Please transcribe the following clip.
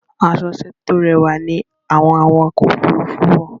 Àṣọ-iṣẹ́ tó rẹwà ní àwọn àwakọ̀-òfurufù wọ.